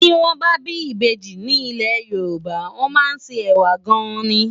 Ti wòn bâ bi ibéji ni ilé Yoruba wòn má n sé èwá gáin